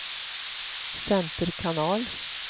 center kanal